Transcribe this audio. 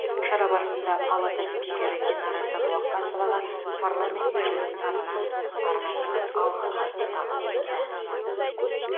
шара барысында палата спикері динара сәдуақасоваға парламент мәжілісінің атынан арнайы алғыс хатты табыс етті